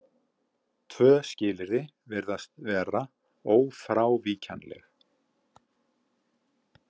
Tvö skilyrði virðast vera ófrávíkjanleg.